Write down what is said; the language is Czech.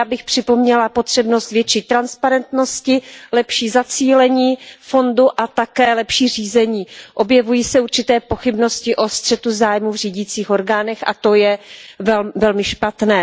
Já bych připomněla potřebnost větší transparentnosti, lepší zacílení fondu a také lepší řízení. Objevují se určité pochybnosti o střetu zájmů v řídících orgánech a to je velmi špatné.